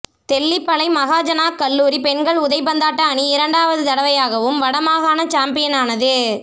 தெல்லிப்பளை மகாஜனாக் கல்லூரி பெண்கள் உதைபந்தாட்ட அணி இரண்டாவது தடவையாகவும் வட மாகாண சம்பியனானது